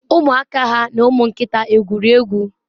umuaka ha na umu nkita egwuri egwu?